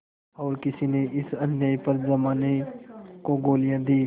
और किसी ने इस अन्याय पर जमाने को गालियाँ दीं